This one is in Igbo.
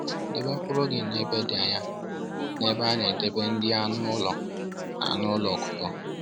Debe mkpụrụ gị ebe dị anya na ebe a na-edebe nri anụ ụlọ na anụ ụlọ ọkụkọ